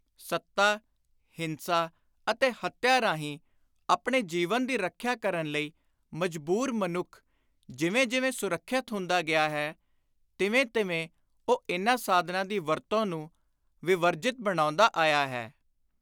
ਸੱਤਾ, ਹਿੰਸਾ ਅਤੇ ਹੱਤਿਆ ਰਾਹੀਂ ਆਪਣੇ ਜੀਵਨ ਦੀ ਰੱਖਿਆ ਕਰਨ ਲਈ ਮਜਬੂਰ ਮਨੁੱਖ, ਜਿਵੇਂ ਜਿਵੇਂ ਸੁਰੱਖਿਅਤ ਹੁੰਦਾ ਗਿਆ ਹੈ, ਤਿਵੇਂ ਤਿਵੇਂ ਉਹ ਇਨ੍ਹਾਂ ਸਾਧਨਾਂ ਦੀ ਵਰਤੋਂ ਨੂੰ ਵਿਵਰਜਿਤ ਬਣਾਉਂਦਾ ਆਇਆ ਹੈ।